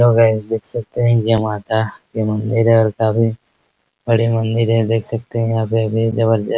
hello guys देख सकते है यह माता का मंदिर है काफी बड़ी मंदिर है देख सकते है यहाँ पे भीड़ जबरदस्त --